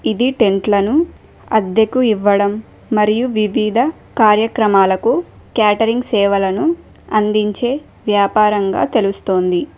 ఇది టెంట్లను అద్దెకు ఇవ్వడం మరియు వివిధ కార్యక్రమాలకు క్యాటరింగ్ సేవలను అందించే వ్యాపారంగా తెలుస్తోంది